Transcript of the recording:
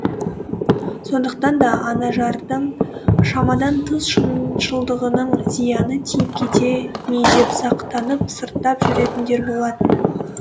сондықтан да анажардың шамадан тыс шыншылдығының зияны тиіп кете ме деп сақтанып сырттап жүретіндер болатын